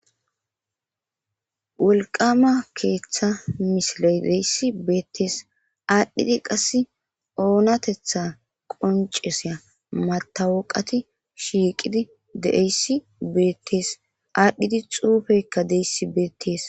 wolqama keeththa misile deyssi beettees aadhdhidi qass oonatetha qonceseya matawoqati shiiqidi deeyssi beettees aadhdhidi xuufeykka deyssi beettees